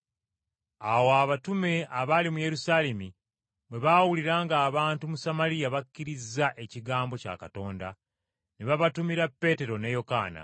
Awo abatume abaali mu Yerusaalemi bwe baawulira ng’abantu mu Samaliya bakkirizza ekigambo kya Katonda, ne babatumira Peetero ne Yokaana.